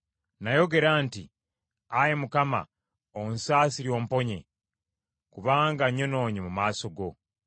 Nayogera nti, “Ayi Mukama onsaasire omponye; kubanga nnyonoonye mu maaso go.”